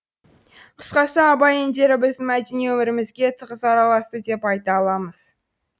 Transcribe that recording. қысқасы абай әндері біздің мәдени өмірімізге тығыз араласты деп айта аламыз